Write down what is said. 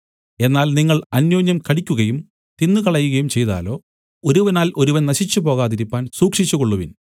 എന്നാൽ നിങ്ങൾ അന്യോന്യം കടിക്കുകയും തിന്നുകളകയും ചെയ്താലോ ഒരുവനാൽ ഒരുവൻ നശിച്ചുപ്പോകാതിരിപ്പാൻ സൂക്ഷിച്ചുകൊള്ളുവിൻ